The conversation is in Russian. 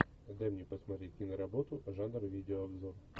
дай мне посмотреть киноработу жанр видеообзор